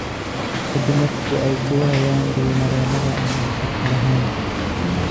Ka dib markii ay ku waayaan biyo mareennada aan waxtarka lahayn.